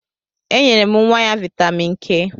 E nyere nwa ya vitamin K